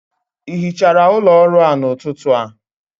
ị hichara ụlọ ọrụ a n'ụtụtụ a?